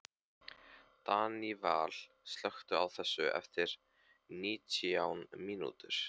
Daníval, slökktu á þessu eftir nítján mínútur.